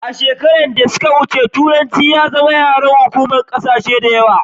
a shekaru da yawa da suka wuce turanci ya zama yaren hukuma kasashe da yawa